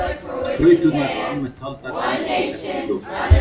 Flauturnar eru almennt taldar elstu þekktu hljóðfærin.